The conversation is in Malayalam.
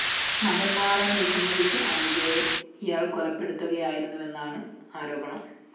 മതംമാറാന്‍ വിസമ്മതിച്ച അനുജയെ ഇയാള്‍ കൊലപ്പെടുത്തുകയായിരുന്നുവെന്നാണ് ആരോപണം